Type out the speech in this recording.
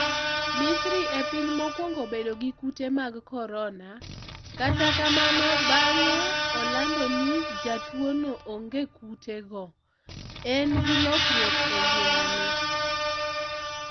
Misri e piny mokwongo bedo gi kute mag korona kata kamano bang'e olando ni jatuono onge kutego, en gi lokruok e ngimane.